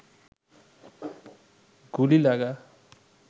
গুলি লাগা